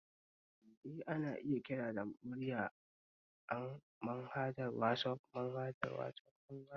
Eh, ana iya kira da murya an=manhajar wasaf